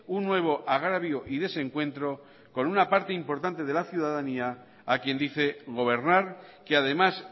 un nuevo agravio y desencuentro con una parte importante de la ciudadanía a quien dice gobernar que además